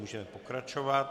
Můžeme pokračovat.